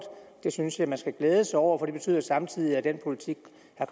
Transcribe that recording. det synes jeg man skal glæde sig over for det betyder samtidig at den politik